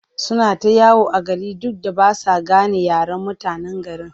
Suna ta yawo a gari duk da ba sa gane yaren mutanen garin.